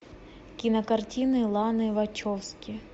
кинокартины ланы вачовски